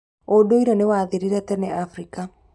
ũndũire nĩwathirire tene Afrika.